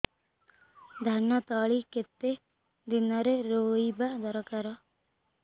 ଧାନ ତଳି କେତେ ଦିନରେ ରୋଈବା ଦରକାର